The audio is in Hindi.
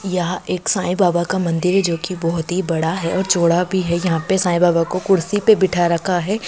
यहाँ एक साई बाबा का मंदिर है जो की बहुत ही बड़ा है और चौड़ा भी है यहाँ पे साई बाबा को कुर्सी पे बीठा रखा है।